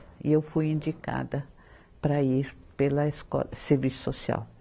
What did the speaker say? E eu fui indicada para ir pela Escola de Serviço Social.